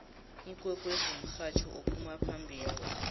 ikwekwezi mhatjho ophuma phambili